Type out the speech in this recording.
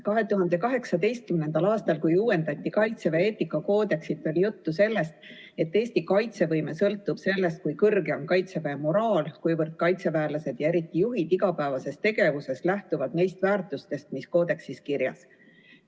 2018. aastal, kui uuendati Kaitseväe eetikakoodeksit, oli juttu sellest, et Eesti kaitsevõime sõltub sellest, kui kõrge on Kaitseväe moraal, kuivõrd kaitseväelased ja eriti nende juhid igapäevases tegevuses lähtuvad neist väärtustest, mis koodeksis kirjas.